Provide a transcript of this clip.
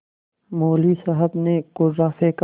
मौलवी साहब ने कुर्रा फेंका